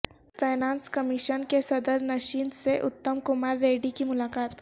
finance commission کے صدر نشین سے اتم کمار ریڈی کی ملاقات